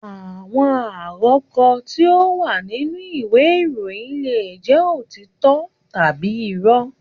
Àwọn àrọko tí ó wà nínú ìwé ìròyìn leè jẹ́ òtítọ́ tàbí irọ́